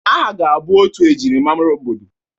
Aha ga-abụ otu e jirimara obodo.